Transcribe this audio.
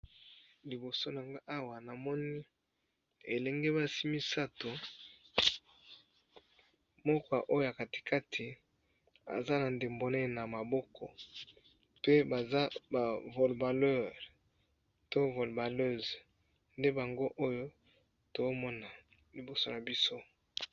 Liboso na ngacawa na moni bilenge basi misato, moko oyo ya katikati aza na ndembo monene na maboko pe baza ba volbaleur to volbaleuse , nde bango oyo tozo mona liboso na biso .